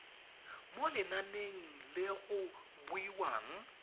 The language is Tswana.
mo lenaneng le go buiwang